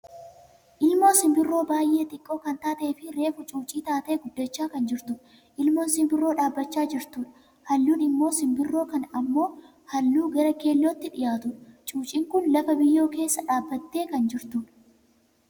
Ilmoo simbirroo baayyee xiqqoo kan taateefi reefu cuucii taatee guddachaa kan jirtudha. Ilmoon simbirroo dhaabbachaa jirtudha. Halluun imoo simbirroo kanaa ammoo halluu gara keellootti dhiyaatudha. Cuuciin kun lafa biyyoo keessa dhaabbattee kan jirtudha.